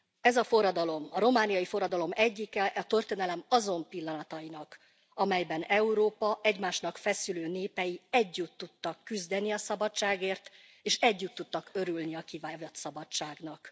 Ez a forradalom, a romániai forradalom, egyike a történelem azon pillanatainak, amelyben Európa egymásnak feszülő népei együtt tudtak küzdeni a szabadságért, és együtt tudtak örülni kivívott szabadságnak.